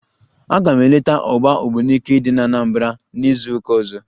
Aga m eleta ọgba ogbunike dị n'Anambra n'izuụka ọzọ